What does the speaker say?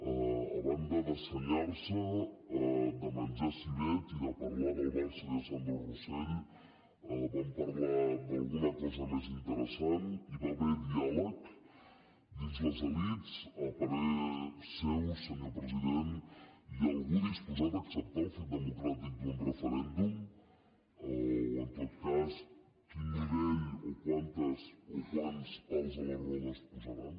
a banda de senyar se de menjar civet i de parlar del barça i de sandro rosell van parlar d’alguna cosa més interessant hi va haver diàleg dins les elits a parer seu senyor president hi ha algú disposat a acceptar el fet democràtic d’un referèndum o en tot cas quin nivell o quants pals a les rodes posaran